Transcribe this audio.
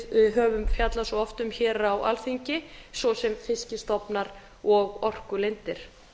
við höfum fjallað svo oft um á alþingi svo sem fiskstofnar og orkulindir